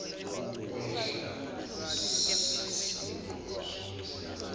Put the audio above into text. ukwehla kwesisindo somzimba